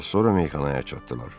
Az sonra meyxanaya çatdılar.